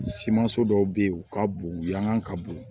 Simanso dɔw bɛ yen u ka bon u yankan ka bon